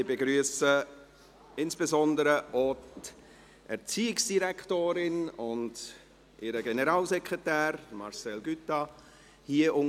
Ich begrüsse insbesondere auch die Erziehungsdirektorin und ihren Generalsekretär, Marcel Cuttat, unter uns.